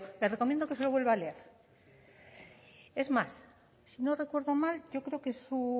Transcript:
le recomiendo que se lo vuelva a leer es más si no recuerdo mal yo creo que su